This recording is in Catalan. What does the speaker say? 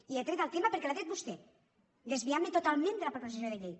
i he tret el tema perquè l’ha tret vostè desviant me totalment de la proposició de llei